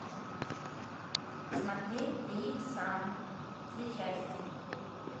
смотреть три икса все части